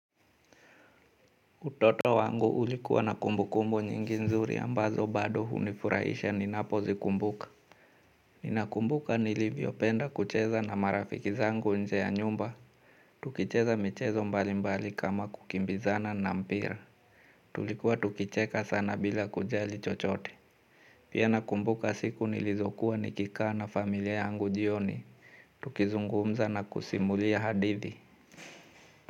Utoto wangu ulikuwa na kumbukumbu nyingi nzuri ambazo bado hunifurahisha ninapozikumbuka. Ninakumbuka nilivyopenda kucheza na marafiki zangu nje ya nyumba. Tukicheza michezo mbalimbali kama kukimbizana na mpira. Tulikuwa tukicheka sana bila kujali chochote. Pia nakumbuka siku nilizokuwa nikikaa na familia yangu jioni. Tukizungumza na kusimulia hadithi.